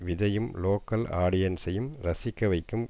விஜய்யும் local ஆடியன்ஸையும் ரசிக்க வைக்கும்